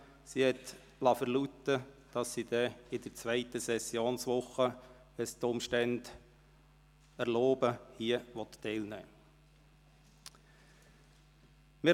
Sie hat verlauten lassen, dass sie, sofern es die Umstände erlauben, ab der zweiten Sessionswoche teilnehmen wird.